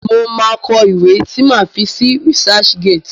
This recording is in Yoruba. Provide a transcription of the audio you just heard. Mo máa kọ ìwé tí máa fi sí Researchgate